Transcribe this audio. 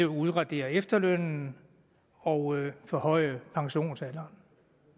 udradere efterlønnen og forhøje pensionsalderen